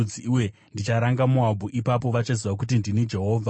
uye ndicharanga Moabhu. Ipapo vachaziva kuti ndini Jehovha.’ ”